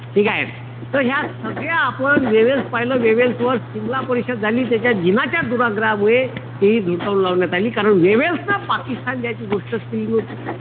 ठीकेय? त ह्या सगळ्या आपण वेव्हेल्स पाहिलं. वेव्हेल्स वर सिमला परिषद झाली. त्याच्यात जिनाच्या दुराग्रहामुळे ते हि धुडकावून लावण्यात आली. कारण वेव्हेल्स न पाकिस्तान जायची गोष्टच केली नव्हती.